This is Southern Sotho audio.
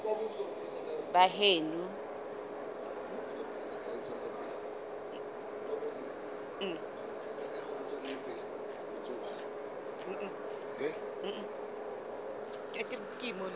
baheno